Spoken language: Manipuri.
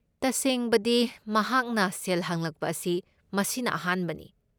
ꯇꯁꯦꯡꯕꯗꯤ, ꯃꯍꯥꯛꯅ ꯁꯦꯜ ꯍꯪꯂꯛꯄ ꯑꯁꯤ ꯃꯁꯤꯅ ꯑꯍꯥꯟꯕꯅꯤ꯫